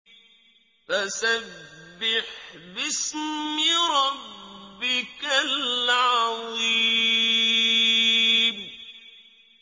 فَسَبِّحْ بِاسْمِ رَبِّكَ الْعَظِيمِ